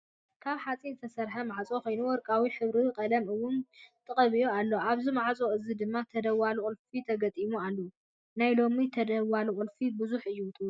ካብ ሓፂን ዝተሰርሐ ማዕፆ ኮይኑ ወርቃማ ሕብሪ ቀለም እውን ተቀቢኡ ኣሎ። ኣብዚ ማዕፆ እዙይ ድማ ተደዋሊ ቁልፊ ተገጢሙሉ ኣሎ። ናይ ሎሚ ተደዋሊ ቁልፊ ብዙሕ እዩ ወሲኩ።